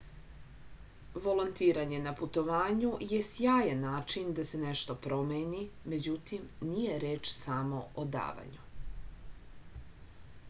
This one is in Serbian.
volontiranje na putovanju je sjajan način da se nešto promeni međutim nije reč samo o davanju